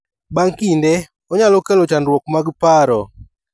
Bang' kinde, onyalo kelo chandruok mag paro.